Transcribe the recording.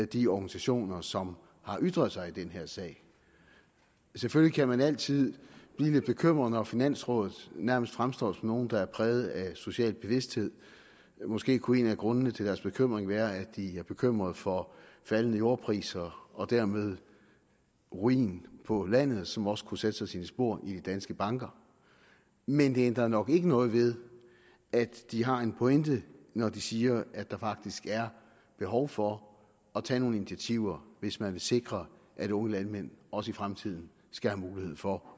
de organisationer som har ytret sig i den her sag selvfølgelig kan man altid blive lidt bekymret når finansrådet nærmest fremstår nogle der er præget af social bevidsthed måske kunne en af grundene til deres bekymring være at de er bekymrede for faldende jordpriser og dermed ruin på landet som også kunne sætte sig sine spor i de danske banker men det ændrer nok ikke noget ved at de har en pointe når de siger at der faktisk er behov for at tage nogle initiativer hvis man vil sikre at unge landmænd også i fremtiden skal have mulighed for